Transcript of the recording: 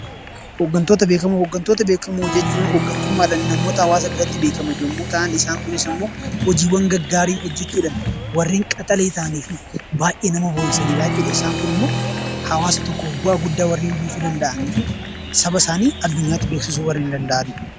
Hooggantoota Beekamoo Hooggantoota beekamoo jechuun hoggantummaadhaan namoota hawaasa biratti beekaman yommuu ta'an, isaan kunis immoo hojiiwwan gaggaarii hojjechuudhaan warreen qaxalee ta'anii fi baay'ee nama boonsanii dha jechuu dha. Isaan kun immoo hawaasa tokkoof bu'aa guddaa warreen buusuu danda'anii fi saba isaanii addunyaatti beeksisuu warreen danda'anii dha.